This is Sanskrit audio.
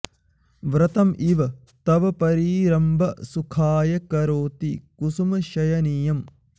व्रतम् इव तव परि रम्भ सुखाय करोति कुसुम शयनीयम्